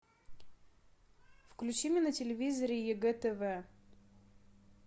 включи мне на телевизоре егэ тв